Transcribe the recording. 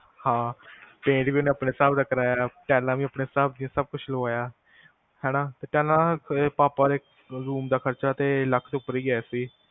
ਹਾਂ ਪੈਂਟ ਵੀ ਆਪਣੇ ਹਿਸਾਬ ਨਾਲ ਕਰਾਇਆ ਟਾਈਲਾਂ ਵੀ ਆਪਣੇ ਹਿਸਾਬ ਦੀਆ ਸਬ ਕੁਜ ਲਵਾਇਆ ਹੈਨਾ ਟਾਈਲਾਂ ਪਾਪਾ ਦੇ room ਦਾ ਖ਼ਰਚਾ ਤੇ ਲੱਖ ਤੋਂ ਉੱਪਰ ਗਿਆ ਸੀ